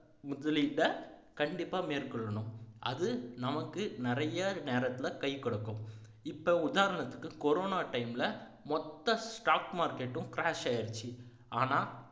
முதலீட்டை கண்டிப்பா மேற்கொள்ளணும் அது நமக்கு நிறைய நேரத்துல கை கொடுக்கும் இப்போ உதாரணத்துக்கு corona time ல மொத்த stock market டும் crash ஆயிருச்சு ஆனா